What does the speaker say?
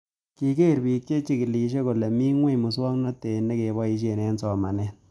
Kiker pik che chikilishe kole mii ng'weny muswognatet ne kepoishe eng'somanet